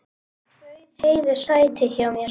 Bauð Heiðu sæti hjá mér.